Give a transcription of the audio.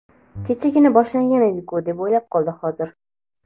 Kechagina boshlangan edi-ku deb o‘ylab qoldim hozir.